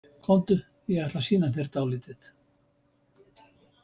Komdu, ég ætla að sýna þér dálítið